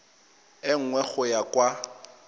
e nngwe go ya kwa